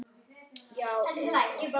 Já, yfir það heila.